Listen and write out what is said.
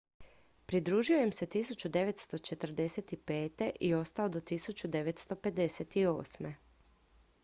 pridružio im se 1945. i ostao do 1958